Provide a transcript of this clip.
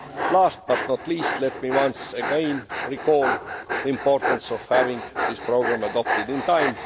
Last but not least, let me once again recall the importance of having this programme adopted in time.